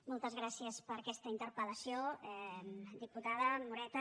moltes gràcies per aquesta interpel·lació diputada moreta